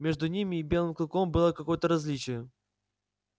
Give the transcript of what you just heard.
между ними и белым клыком было какое то различие